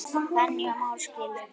Fanný og Már skildu.